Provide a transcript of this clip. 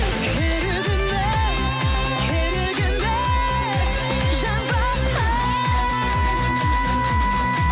керек емес керек емес жан басқа